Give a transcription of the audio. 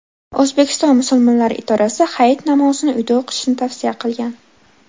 O‘zbekiston musulmonlari idorasi Hayit namozini uyda o‘qishni tavsiya qilgan .